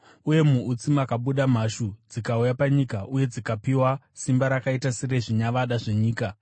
Uye muutsi makabuda mhashu dzikauya panyika uye dzikapiwa simba rakaita serezvinyavada zvenyika.